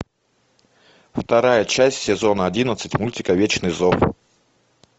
вторая часть сезона одиннадцать мультика вечный зов